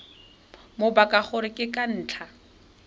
mabaka gore ke ka ntlha